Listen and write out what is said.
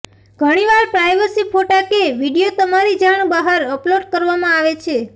ઘણીવાર પ્રાઈવસી ફોટા કે વિડીયો તમારી જાણ બહાર અપલોડ કરવામાં આવે છે